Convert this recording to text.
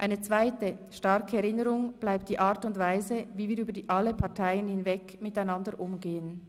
Eine zweite starke Erinnerung bleibt die Art und Weise, wie wir über alle Parteien hinweg, miteinander umgehen.